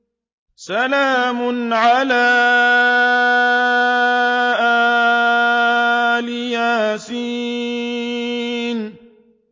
سَلَامٌ عَلَىٰ إِلْ يَاسِينَ